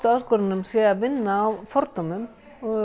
áskorununum sé að vinna á fordómum